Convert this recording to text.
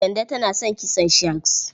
Kande tana son kitson shags.